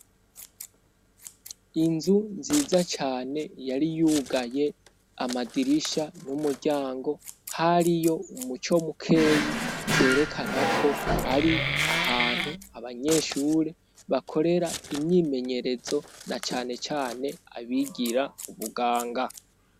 Inzu nziza cane yari yugaye amadirisha n'umuryango hariyo umuco mukeyi vyerekana ko ari ahantu abanyeshure bakorera imyimenyerezo nacanecane abigira ubuganga.